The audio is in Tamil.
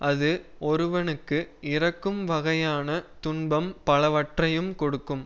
அது ஒருவனுக்கு இறக்கும் வகையான துன்பம் பலவற்றையும் கொடுக்கும்